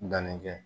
Danni kɛ